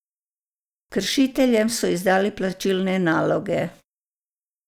Kršiteljem so izdali plačilne naloge.